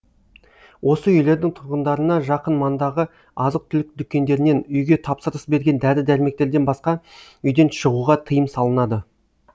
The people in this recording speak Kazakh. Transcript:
осы үйлердің тұрғындарына жақын маңдағы азық түлік дүкендерінен үйге тапсырыс берген дәрі дәрмектерден басқа үйден шығуға тыйым салынады